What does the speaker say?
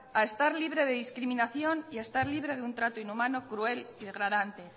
a estar libre de discriminación y a estar libre de un trato inhumano cruel y degradante